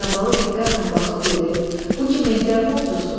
İsabalı diqqətlə baxıb dedi: Bu ki Mehdər Murtuzdur.